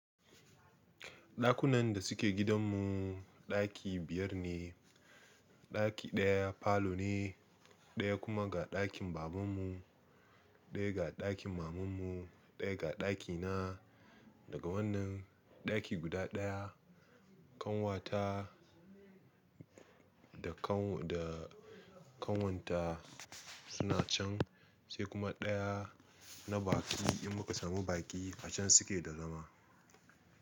Ɗakunan da suke gidanmu, ɗaki biyar ne. Ɗaki ɗaya falo ne, ɗaya kuma ga ɗakin babanmu, ɗaya ga ɗakin mamanmu, ɗaya ga ɗakina. Daga wannan ɗaki guda ɗaya, ƙanwata da ƙanwarta, suna can, sai kuma ɗaya na baƙi, in muka samu baƙi a can suke da zama.